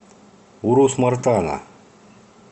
урус мартана